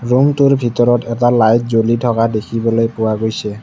ৰূমটোৰ ভিতৰত এটা লাইট জ্বলি থকা দেখিবলৈ পোৱা গৈছে।